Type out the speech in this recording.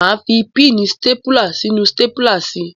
Máa fi píìnì stápùlà sínú stápùlà si.